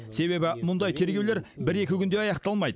себебі мұндай тергеулер бір екі күнде аяқталмайды